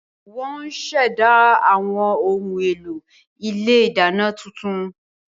Wọ́n ó ṣẹ̀dá àwọn ohun èlò ilé ìdáná tuntun